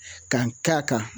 Ka n k'a kan